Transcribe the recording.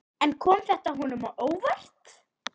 En kom þetta honum á óvart?